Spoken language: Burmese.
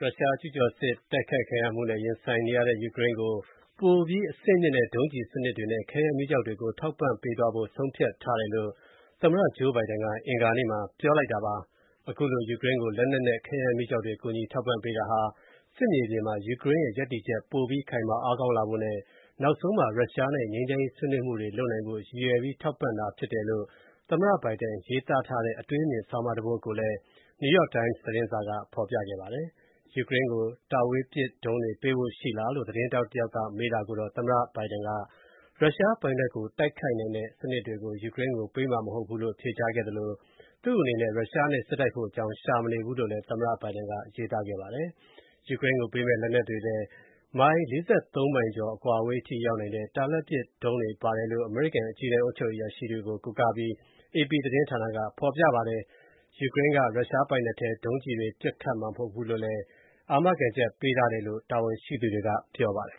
ရုရှားကျူးကျော်တိုက်ခိုက်မှုနဲ့ ရင်ဆိုင်နေရတဲ့ ယူကရိန်းကို ပိုပြီး အဆင့်မြင့်တဲ့ ဒုံးစနစ်တွေနဲ့ ခဲယမ်းမီးကျောက်တွေကို ထောက်ပံ့ပေးသွားဖို့ ဆုံးဖြတ်ထားတယ်လို့ သမ္မတ Joe Biden က အင်္ဂါနေ့က ပြောပါတယ်။ အခုလို ယူကရိန်းကို လက်နက်နဲ့ခဲယမ်းမီးကျောက်တွေ ကူညီထောက်ပံ့ပေးတာဟာ စစ်မြေပြင်မှာ ယူကရိန်းရဲ့ရပ်တည်ချက်ပိုပြီး ခိုင်မာအားကောင်းလာဖို့နဲ့ နောက်ဆုံးမှာ ရုရှားနဲ့ ငြိမ်းချမ်းရေးဆွေးနွေးမှုတွေလုပ်နိုင်ဖို့ ရည်ရွယ်ပြီး ထောက်ပံ့တာဖြစ်တယ်လို့ သမ္မတ Biden ရေးသားထားတဲ့ အတွေးအမြင်ဆောင်းပါးတပုဒ် ကိုလည်း New York Times သတင်းစာကဖော်ပြခဲ့ပါတယ်။ ယူကရိန်းကို တာဝေးပစ်ဒုံးတွေပေးပို့ဖို့ ရှိလားလို့ သတင်းထောက်တယောက်ကမေးတာကိုတော့ သမ္မတ Joe Biden က ရုရှားပိုင်နက်ကိုတိုက်ခိုက်နိုင်တဲ့စနစ်တွေ ယူကရိန်းကိုပေးမှာမဟုတ်ဘူးလို့ ဖြေကြားခဲ့သလို သူ့အနေနဲ့ ရုရှားနဲ့ စစ်တိုက်ဖို့ အကြောင်းရှာမနေဘူးလို့လည်းသမ္မတ Biden ကရေးသားခဲ့ပါတယ်။ ယူကရိန်းကို ပေးမယ့်လက်နက်တွေထဲ ကီလိုမီတာ ၇၀ အကွာအဝေးထိရောက်နိုင်တဲ့ တာလတ်ပစ်ဒုံးတွေပါတယ်လို့ အမေရိကန်အကြီးတန်းအုပ်ချုပ်ရေးအရာရှိတွေကို ကိုးကားပြီး အေပီသတင်းက ဖော်ပြပါတယ်။ ယူကရိန်းက ရုရှားပိုင်နက်ထဲ ထိ ဒုံးကျည်တွေပစ်ခတ်မှာမဟုတ်ဘူးလို့ အာမခံချက်ပေးထားတယ်လို့လည်း တာဝန်ရှိသူတွေက ပြောပါတယ်